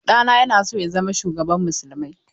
Ɗana yana so ya zama shugaban musulmai.